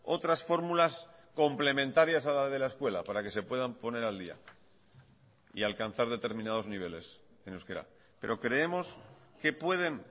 otras fórmulas complementarias a la de la escuela para que se puedan poner al día y alcanzar determinados niveles en euskera pero creemos que pueden